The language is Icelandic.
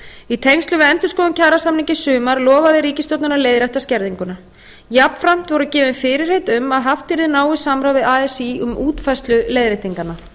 í tengslum við endurskoðun kjarasamninga í sumar lofaði ríkisstjórnin að leiðrétta skerðinguna jafnframt voru gefin fyrirheit um að haft yrði náið samráð við así um útfærslu leiðréttinganna